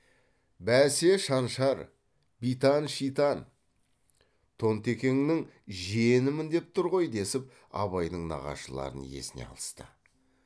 бәсе шаншар битан шитан тонтекеңнің жиенімін деп тұр ғой десіп абайдың нағашыларын есіне алысты